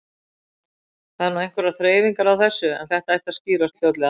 Það eru nú einhverjar þreifingar á þessu en þetta ætti að skýrast fljótlega.